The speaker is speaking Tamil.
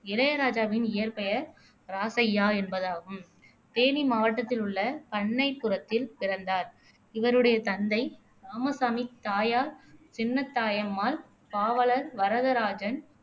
இளையராஜாவின் இயற்பெயர் ராசையா என்பதாகும் தேனி மாவட்டத்தில் உள்ள பண்ணைப்புரத்தில் பிறந்தார் இவருடைய தந்தை ராமசாமி தாயார் சின்னத்தாயம்மாள் பாவலன் வரதராஜன்